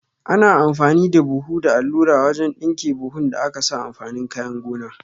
Ana amfani da buhu da allura wajan ɗinke buhun da akasa amfanin kayan gona